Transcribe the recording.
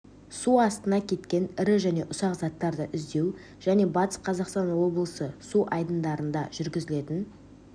су астына кеткен ірі және ұсақ заттарды іздеу және батыс қазақстан облысы су айдындарында жүргізілетін